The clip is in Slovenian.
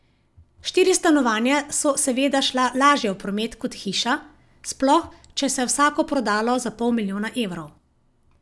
Štiri stanovanja so seveda šla lažje v promet kot hiša, sploh če se je vsako prodalo za pol milijona evrov.